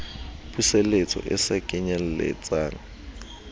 puseletso e se kenyel letsang